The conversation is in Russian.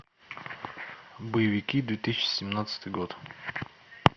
боевики две тысячи семнадцатый год